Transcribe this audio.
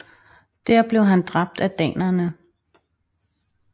Der blev han dræbt af danerne